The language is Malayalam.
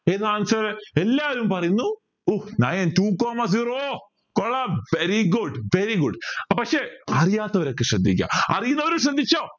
ഏതാ എല്ലാരും പറയുന്നു nine two coma zero കൊള്ളാം very good very good പക്ഷേ അറിയാത്തവരൊക്കെ ശ്രദ്ധിക്ക അറിയുന്നവരും ശ്രദ്ധിച്ചോ